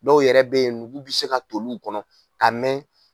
Dɔw yɛrɛ bɛ yen nugu bɛ se ka tol'u kɔnɔ ka mɛn